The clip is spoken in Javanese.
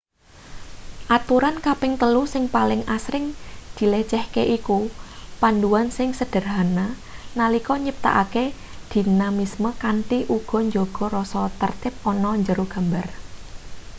aturan kaping telu sing paling asring-dilecehke iku panduan sing sederhana nalika nyiptakake dinamisme kanthi uga njaga rasa tertib ana njero gambar